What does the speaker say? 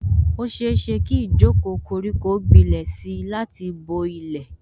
Ó ṣeéṣe kí ijoko koriko gbilẹ̀ si láti bo ilẹ̀